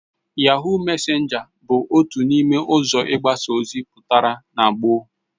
Yahoo mesenga bu otu n'ime uzo igbasa ozi putara na gboo